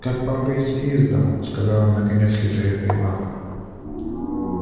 как вам выйти из дому сказала наконец лизавета ивановна